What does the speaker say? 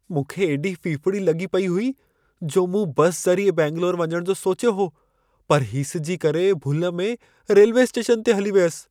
मूंखे एॾी फिफिड़ी लॻी पई हुई जो मूं बस ज़रिए बैंगलोर वञण जो सोचियो हो, पर हीसिजी करे भुल में रेल्वे स्टेशन ते हली वियसि।